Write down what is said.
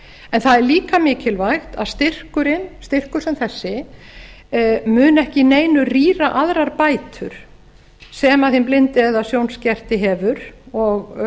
en það er líka mikilvægt að styrkurinn styrkur sem þessi mun ekki að neinu rýra aðrar bætur sem hinn blindi eða sjónskerti hefur og